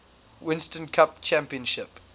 winston cup championship